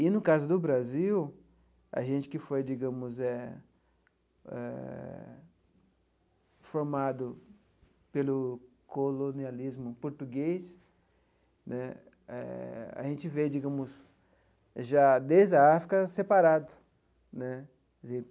E, no caso do Brasil, a gente que foi, digamos eh, formado pelo colonialismo português né, a gente veio, digamos, já desde a África, separado.